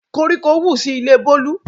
Koríko wù sí ilé Bolu